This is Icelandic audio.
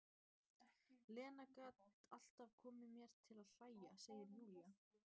Lena gat alltaf komið mér til að hlæja, segir Júlía.